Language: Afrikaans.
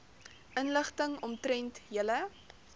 inligting omtrent julle